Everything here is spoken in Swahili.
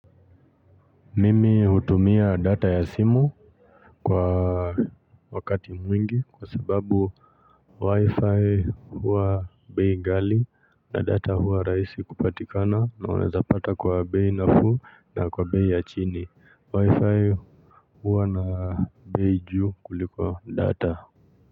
Mimi hutumia data ya simu kwa wakati mwingi kwa sababu wi-fi huwa bei ghali na data huwa rahisi kupatikana naweza pata kwa bei nafuu na kwa bei ya chini wi-fi huwa na bei juu kuliko data.